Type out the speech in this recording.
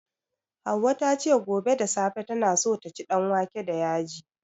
Hauwa ta ce, gobe da safe tana so ta ci danwake da yaji.